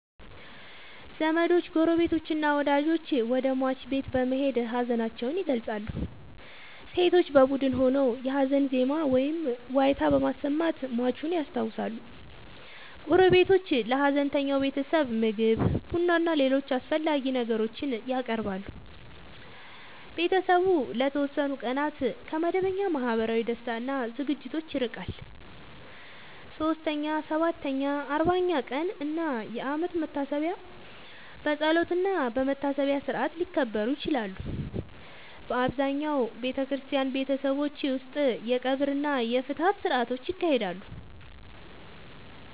ዘመዶች፣ ጎረቤቶችና ወዳጆች ወደ ሟች ቤት በመሄድ ሀዘናቸውን ይገልጻሉ። ሴቶች በቡድን ሆነው የሀዘን ዜማ ወይም ዋይታ በማሰማት ሟቹን ያስታውሳሉ። ጎረቤቶች ለሀዘንተኛው ቤተሰብ ምግብ፣ ቡናና ሌሎች አስፈላጊ ነገሮችን ያቀርባሉ። ቤተሰቡ ለተወሰኑ ቀናት ከመደበኛ ማህበራዊ ደስታ እና ዝግጅቶች ይርቃል። 3ኛ፣ 7ኛ፣ 40ኛ ቀን እና የአመት መታሰቢያ በጸሎትና በመታሰቢያ ሥርዓት ሊከበሩ ይችላሉ። በአብዛኛው በክርስቲያን ቤተሰቦች ውስጥ የቀብር እና የፍትሐት ሥርዓቶች ይካሄዳሉ።